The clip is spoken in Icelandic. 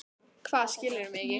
Hvað, skilurðu mig ekki?